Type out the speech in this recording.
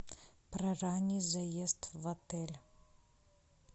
про ранний заезд в отель